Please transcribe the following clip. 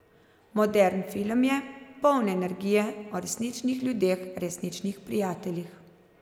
Modern film je, poln energije, o resničnih ljudeh, resničnih prijateljih.